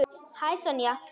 Hæ, Sonja.